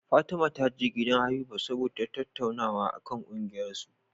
Fatima taje gidan Habiba saboda tattaunawa akan kungiyar su